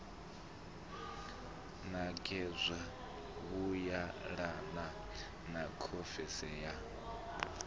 ṋekedzwa vhuyelanaho na khonferentsi ye